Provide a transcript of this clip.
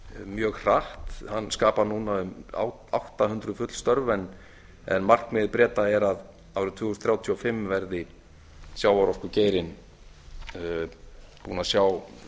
mjög hratt hann skapar núna um átta hundruð full störf en markmið breta er að árið tvö þúsund þrjátíu og fimm verði sjávarorkugeirinn búinn að sjá